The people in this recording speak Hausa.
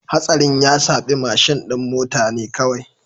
Hatsarin ya shafi mashin din mota ne kawai